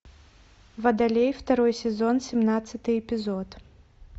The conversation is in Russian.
водолей второй сезон семнадцатый эпизод